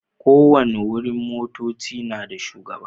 Ko wanni wurin motocci na da shugaba.